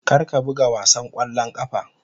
Kar ka buga wasan ƙwallon ƙafa.